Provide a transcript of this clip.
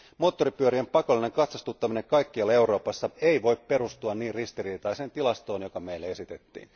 Moottoripyörien pakollinen katsastuttaminen kaikkialla Euroopassa ei voi perustua niin ristiriitaiseen tilastoon, joka meille esitettiin.